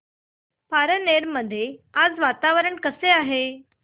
पारनेर मध्ये आज वातावरण कसे आहे